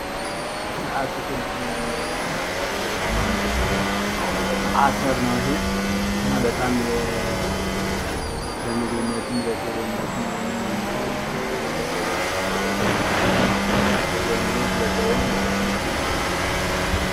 ከአትክልትና ፍራፍሬዎች የሚመደብ እና በጣም ለምግብነትም ለሽሮነትም ምናምን የሚውል በተለይ ከደረቀ በኋላ የሚውል ለጥሬም ለሸትነት የሚውል ምግብ ነው።